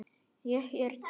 Ég er til